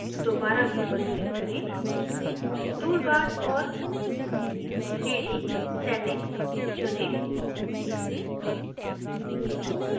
दोबारा view पर click करें toolbars और 3dsettings चुनें